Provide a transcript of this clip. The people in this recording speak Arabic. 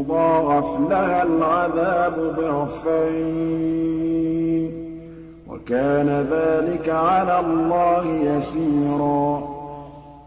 يُضَاعَفْ لَهَا الْعَذَابُ ضِعْفَيْنِ ۚ وَكَانَ ذَٰلِكَ عَلَى اللَّهِ يَسِيرًا